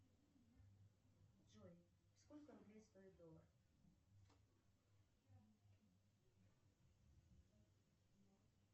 джой сколько рублей стоит доллар